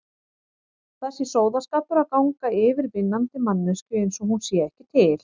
Það sé sóðaskapur að ganga yfir vinnandi manneskju einsog hún sé ekki til.